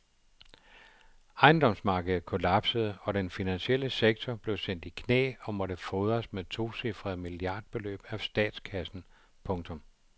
Ejendomsmarkedet kollapsede og den finansielle sektor blev sendt i knæ og måtte fodres med tocifrede milliardbeløb af statskassen. punktum